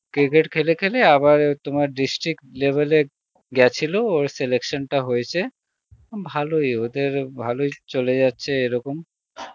cricket খেলে খেলে আবার তোমার district level এ, গেছিল ওর selection টা হয়েছে উম ভালই ওদের ভালই চলে যাচ্ছে এরকম